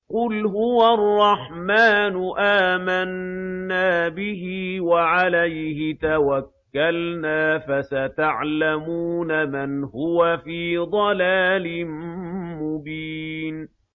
قُلْ هُوَ الرَّحْمَٰنُ آمَنَّا بِهِ وَعَلَيْهِ تَوَكَّلْنَا ۖ فَسَتَعْلَمُونَ مَنْ هُوَ فِي ضَلَالٍ مُّبِينٍ